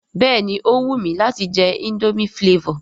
Béèni ó wù mi láti je indomie flavour